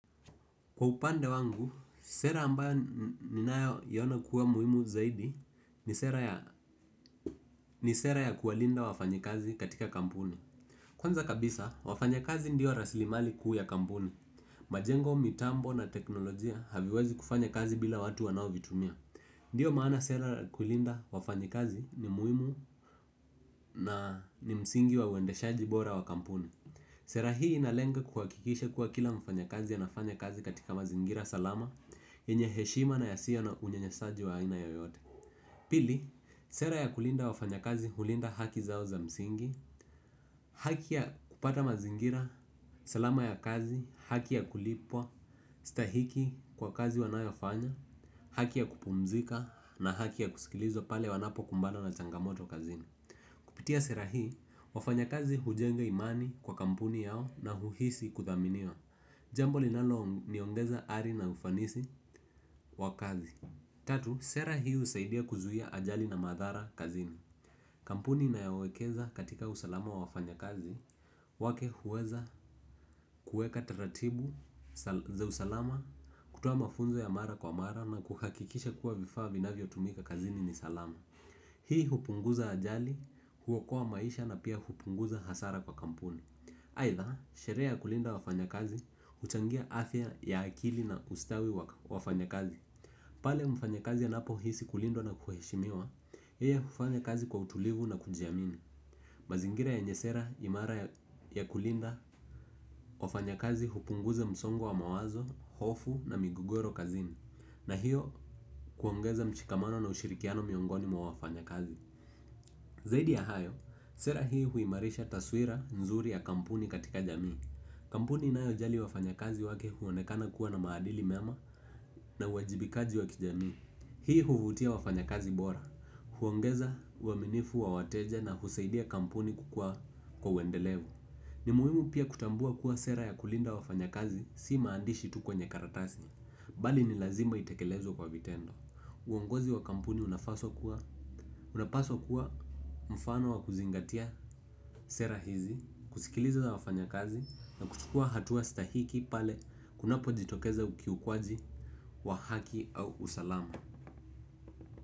Kwa upande wangu, sera ambayo ninayoona kuwa muhimu zaidi ni sera ya ni sera ya kuwalinda wafanyikazi katika kampuni. Kwanza kabisa, wafanyakazi ndio rasilimali kuu ya kampuni. Majengo, mitambo na teknolojia haviwezi kufanya kazi bila watu wanaovitumia. Ndio maana sera ya kulinda wafanyikazi ni muhimu na ni msingi wa uendeshaji bora wa kampuni. Sera hii inalenga kuhakikisha kuwa kila mfanyakazi anafanya kazi katika mazingira salama, yenye heshima na yasiyo na unyanyasaji wa aina yoyote. Pili, sera ya kulinda wafanyakazi hulinda haki zao za msingi. Haki ya kupata mazingira salama ya kazi, haki ya kulipwa, stahiki kwa kazi wanayofanya, haki ya kupumzika na haki ya kusikilizwa pale wanapokumbana na changamoto kazini. Kupitia sera hii, wafanyakazi hujenga imani kwa kampuni yao na huhisi kuthaminiwa. Jambo linaloniongeza ari na ufanisi wa kazi. Tatu, sera hii husaidia kuzuia ajali na madhara kazini. Kampuni inayowekeza katika usalama wa wafanyakazi, wake huweza kuweka taratibu za usalama, kutoa mafunzo ya mara kwa mara na kuhakikisha kuwa vifaa vinavyotumika kazini ni salama. Hii hupunguza ajali, huokoa maisha na pia hupunguza hasara kwa kampuni. Aidha, sherehe ya kulinda wafanyakazi, huchangia afya ya akili na ustawi wa wafanyakazi. Pale mfanyakazi anapohisi kulindwa na kuheshimiwa, yeye hufanya kazi kwa utulivu na kujiamini. Mazingira yenye sera imara ya kulinda wafanyakazi hupunguza msongo wa mawazo, hofu na migogoro kazini. Na hiyo huongeza mshikamano na ushirikiano miongoni mwa wafanyakazi. Zaidi ya hayo, sera hii huimarisha taswira nzuri ya kampuni katika jamii. Kampuni inayojali wafanyakazi wake huonekana kuwa na maadili mema na uwajibikaji wa kijamii. Hii huvutia wafanyakazi bora. Huongeza uaminifu wa wateja na husaidia kampuni kukua kwa uendelevu. Ni muhimu pia kutambua kuwa sera ya kulinda wafanyakazi si maandishi tu kwenye karatasi. Bali ni lazima itekelezwe kwa vitendo. Uongozi wa kampuni unapaswa kuwa mfano wa kuzingatia sera hizi, kusikiliza wafanyakazi na kuchukua hatua stahiki pale kunapojitokeza ukiukwaji wa haki au usalama.